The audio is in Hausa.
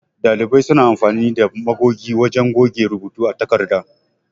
Ɗalibai suna amfani da magogi wajan goge rubuta a takarda.